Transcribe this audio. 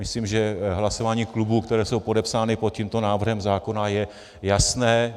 Myslím, že hlasování klubů, které jsou podepsány pod tímto návrhem zákona, je jasné.